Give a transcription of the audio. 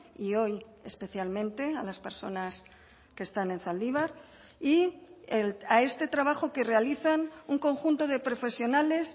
y hoy especialmente a las personas que están en zaldibar y a este trabajo que realizan un conjunto de profesionales